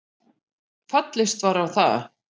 Fallist var á það